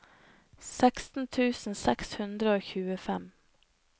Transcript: seksten tusen seks hundre og tjuefem